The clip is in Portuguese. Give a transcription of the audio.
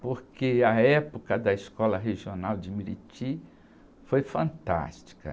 Porque a época da Escola Regional de foi fantástica.